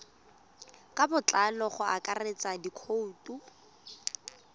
ka botlalo go akaretsa dikhoutu